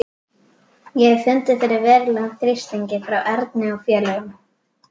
Ég hafði fundið fyrir verulegum þrýstingi frá Erni og félögum.